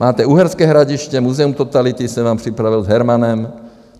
Máte Uherské Hradiště, Muzeum totality jsem vám připravil s Hermanem.